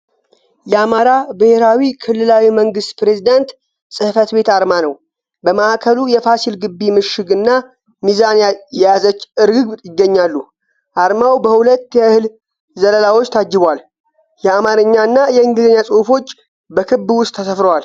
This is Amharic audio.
የአማራ ብሔራዊ ክልላዊ መንግሥት ፕሬዝደንት ፅሕፈት ቤት አርማ ነው። በማዕከሉ የፋሲል ግቢ ምሽግ እና ሚዛን የያዘች ርግብ ይገኛሉ። አርማው በሁለት የእህል ዘለላዎች ታጅቧል። የአማርኛና የእንግሊዝኛ ጽሑፎች በክብ ውስጥ ተሰፍረዋል።